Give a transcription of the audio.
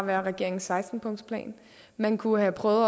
være regeringens seksten punktsplan man kunne have prøvet